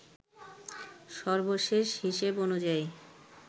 সর্বশেষ হিসেব অনুযায়ী